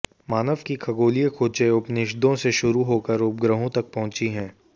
मानव की खगोलीय खोजें उपनिषदों से शुरू होकर उपग्रहों तक पहुंची हैं